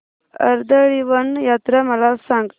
कर्दळीवन यात्रा मला सांग